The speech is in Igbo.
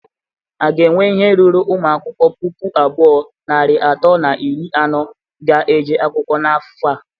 A ga enwe ihe ruru ụmụ akwụkwọ puku abụọ, narị atọ na iri anọ ga-eje akwụkwọ n'afọ a?